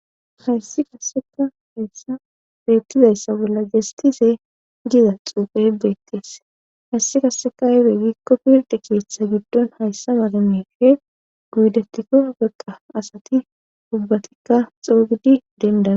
Hayssi qassekka betizayssa bolla diyayssi jastise giza xuufe beetees. hayssi qasseka aybe giikko pirdde keethan hayssa mala miishe odetikko asati gulbatidi xeeganaw dandayees.